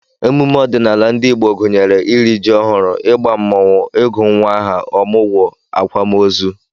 Emume ọdịnala ndị Igbo gụnyere iri ji ọhụrụ, ịgba mmọnwụ, ịgụ nnwa aha, ọmụgwọ, akwamozu